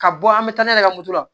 Ka bɔ an bɛ taa n'a ye ka moto la